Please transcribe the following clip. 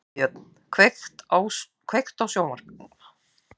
Freybjörn, kveiktu á sjónvarpinu.